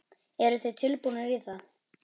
Eruð þið tilbúnir í það?